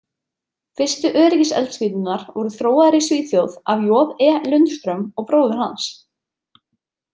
Fyrstu öryggiseldspýturnar voru þróaðar í Svíþjóð af J E Lundström og bróður hans.